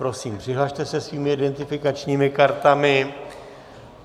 Prosím, přihlaste se svými identifikačními kartami.